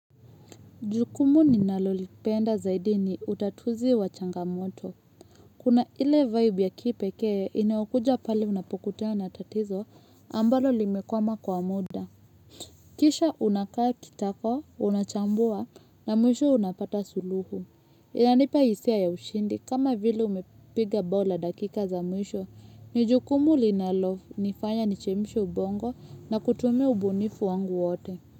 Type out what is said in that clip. Jukumu ninalolipenda zaidi ni utatuzi wa changamoto. Kuna ile vibe ya kipekee inaokuja pale unapokutana na tatizo ambalo limekwama kwa muda. Kisha unakaa kitako, unachambua na mwisho unapata suluhu. Inanipa hisia ya ushindi, kama vile umepiga bao la dakika za mwisho. Ni jukumu linalonifanya nichemshe ubongo, na kutumia ubunifu wangu wote.